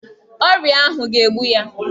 Ọrịa ahụ ga-egbu ya